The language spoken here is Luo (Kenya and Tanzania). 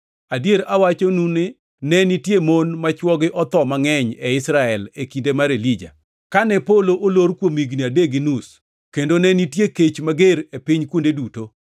Adier awachonu ni ne nitie mon ma chwogi otho mangʼeny e Israel e kinde mar Elija, kane polo olor kuom higni adek gi nus kendo ne nitie kech mager e piny kuonde duto.